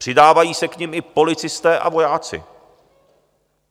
Přidávají se k nim i policisté a vojáci.